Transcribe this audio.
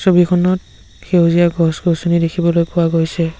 ছবিখনত সেউজীয়া গছ গছনি দেখিবলৈ পোৱা গৈছে।